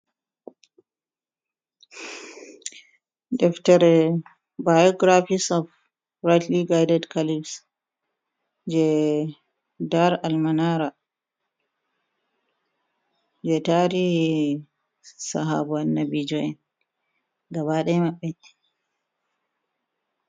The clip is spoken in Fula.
Deftere bayoogiraafiks of rayiitili gaaided kaliifs jee daar almanara ,jee tariihi sahaabo'en annabijo’en gaaba ɗaya mabɓe.